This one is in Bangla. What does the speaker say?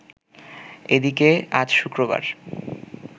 এদিকে আজ শুক্রবার